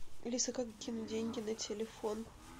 алиса как кинуть деньги на телефон